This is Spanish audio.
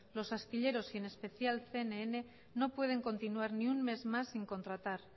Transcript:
los astilleros y en especial cnn no pueden continuar ni un mes más sin contratar